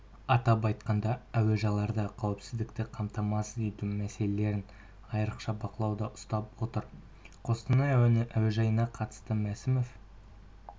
атап айтқанда әуежайларда қауіпсіздікті қамтамасыз ету мәселелерін айрықша бақылауда ұстап отыр қостанай әуежайына қатысты мәсімов